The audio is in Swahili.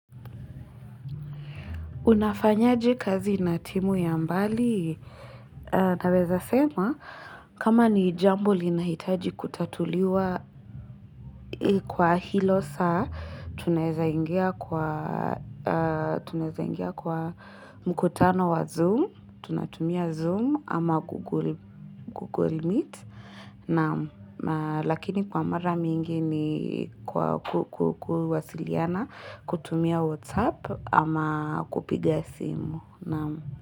Unafanya je kazi na timu ya mbali? Naweza sema, kama ni jambo linahitaji kutatuliwa kwa hilo saa, tunaweza ingia kwa Tunaweza ingia kwa mkutano wa Zoom, tunatumia Zoom ama Google Meet, na lakini kwa mara mingi ni kwa kuwasiliana kutumia WhatsApp ama kupiga simu. Naam.